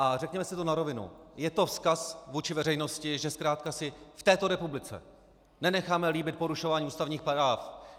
A řekněme si to na rovinu, je to vzkaz vůči veřejnosti, že zkrátka si v této republice nenecháme líbit porušování ústavních práv.